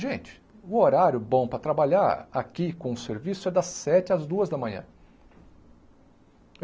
Gente, o horário bom para trabalhar aqui com o serviço é das sete às duas da manhã.